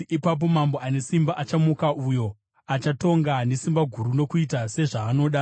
Ipapo mambo ane simba achamuka, uyo achatonga nesimba guru nokuita sezvaanoda.